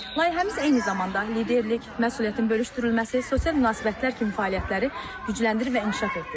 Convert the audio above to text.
Layihəmiz eyni zamanda liderlik, məsuliyyətin bölüşdürülməsi, sosial münasibətlər kimi fəaliyyətləri gücləndirir və inkişaf etdirir.